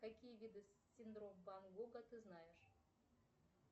какие виды синдром ван гога ты знаешь